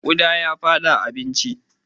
Ƙuda ya fada abincina.